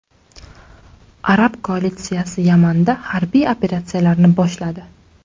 Arab koalitsiyasi Yamanda harbiy operatsiyalarni boshladi.